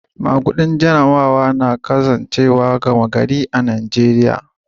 Magudin Jarabawa na cikin al'amuran zamantakewa mafi gama gari a'Nijeriya.